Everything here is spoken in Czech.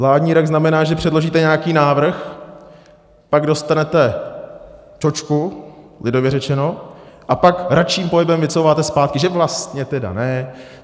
Vládní rak znamená, že předložíte nějaký návrh, pak dostanete čočku, lidově řečeno, a pak račím pohybem vycouváte zpátky, že vlastně teda ne.